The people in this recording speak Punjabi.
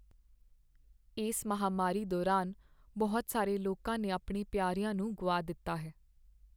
ਇਸ ਮਹਾਂਮਾਰੀ ਦੌਰਾਨ ਬਹੁਤ ਸਾਰੇ ਲੋਕਾਂ ਨੇ ਆਪਣੇ ਪਿਆਰਿਆ ਨੂੰ ਗੁਆ ਦਿੱਤਾ ਹੈ।